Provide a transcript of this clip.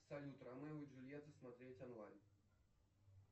салют ромео и джульетта смотреть онлайн